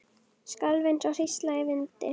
Skalf eins og hrísla í vindi.